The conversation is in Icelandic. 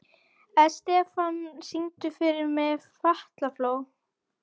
Estefan, syngdu fyrir mig „Fatlafól“.